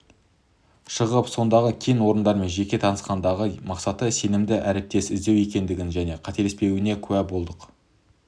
шығып сондағы кен орындарымен жеке танысқандағы мақсаты сенімді әріптес іздеу екендігіне және қателеспегеніне куә болдық